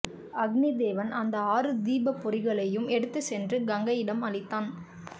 அக்னிதேவன் அந்த ஆறு தீப்பொறிகளையும் எடுத்துச் சென்று கங்கையிடம் அளித்தான்